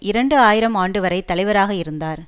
இரண்டு ஆயிரம் ஆண்டு வரை தலைவராக இருந்தார்